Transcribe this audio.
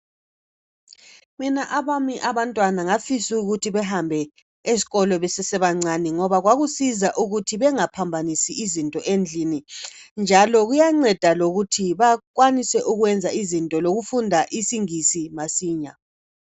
Mina abami abantwana ngafisa ukuthi behambe ezikolo besesebancane ngoba kwakusiza ukuthi bengaphambanisi izinto endlini njalo kuyanceda lokuthi bakwanise ukwenza izinto lokufunda isingisi masinya.